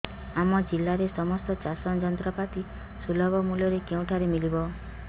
ଆମ ଜିଲ୍ଲାରେ ସମସ୍ତ ଚାଷ ଯନ୍ତ୍ରପାତି ସୁଲଭ ମୁଲ୍ଯରେ କେଉଁଠାରୁ ମିଳିବ